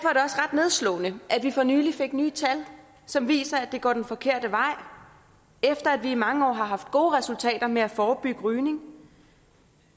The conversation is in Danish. nedslående at vi for nylig fik nye tal som viser at det går den forkerte vej efter at vi i mange år har haft gode resultater med at forebygge rygning